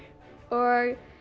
og